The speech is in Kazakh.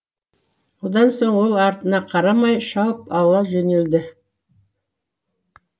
одан соң ол артына қарамай шауып ала жөнелді